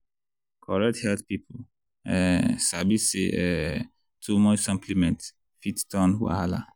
correct health people um sabi say um too much supplement fit turn wahala.